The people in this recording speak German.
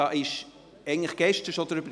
Darüber wurde gestern schon gesprochen.